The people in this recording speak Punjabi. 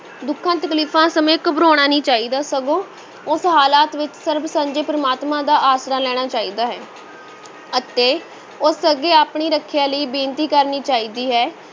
ਦੁੱਖਾਂ-ਤਕਲੀਫਾਂ ਸਮੇਂ ਘਬਰਾਉਣਾ ਨਹੀਂ ਚਾਹੀਦਾ ਸਗੋਂ ਉਸ ਹਾਲਤ ਵਿੱਚ ਸਰਬ ਸਾਂਝੇ ਪ੍ਰਮਾਤਮਾ ਦਾ ਆਸਰਾ ਲੈਣਾ ਚਾਹੀਦਾ ਹੈ ਅਤੇ ਉਸ ਅੱਗੇ ਆਪਣੀ ਰੱਖਿਆ ਲਈ ਬੇਨਤੀ ਕਰਨੀ ਚਾਹੀਦੀ ਹੈ।